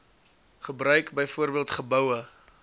gebruik byvoorbeeld geboue